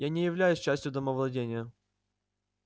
я не являюсь частью домовладения